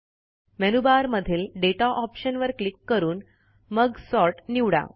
menu bar मधील data option वर click करून मग सॉर्ट निवडा